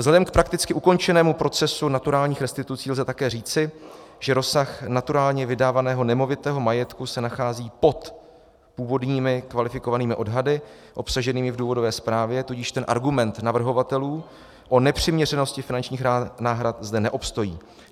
Vzhledem k prakticky ukončenému procesu naturálních restitucí lze také říci, že rozsah naturálně vydávaného nemovitého majetku se nachází pod původními kvalifikovanými odhady obsaženými v důvodové zprávě, tudíž ten argument navrhovatelů o nepřiměřenosti finančních náhrad zde neobstojí.